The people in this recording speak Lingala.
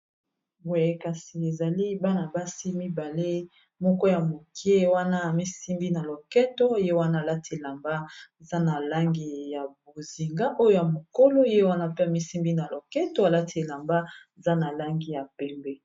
Boye kasi ezali bana-basi mibale moko ya moke wana ami simbi na loketo ye wana alati elamba eza na langi ya bozinga, oyo ya mokolo ye wana pe ami simbi na loketo alati elamba eza na langi ya pembe.